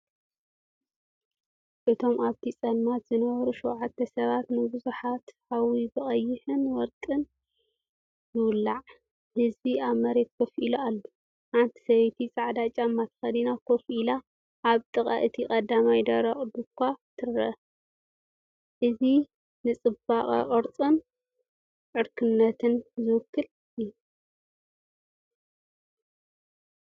እቶም ኣብቲ ፀልማት ዝነበሩ ሸውዓተ ሰባት ንብዙሕ ሓዊ ብቀይሕን ወርቅን ይውላዕ፣ ህዝቢ ኣብ መሬት ኮፍ ኢሉ፣ ሓንቲ ሰበይቲ ጻዕዳ ጫማ ተኸዲና ኮፍ ኢላ ኣብ ጥቓ እቲ ቀዳማይ ደረቕ ዱዃ ትረአ። እዚ ንጽባቐ ቅርጽን ዕርክነትን ዝውክል እዩ።